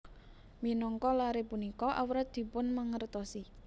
Minangka laré punika awrat dipunmangertosi